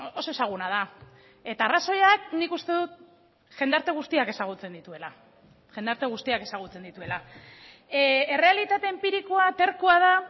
oso ezaguna da eta arrazoiak nik uste dut jendarte guztiak ezagutzen dituela jendarte guztiak ezagutzen dituela errealitate enpirikoa terkoa da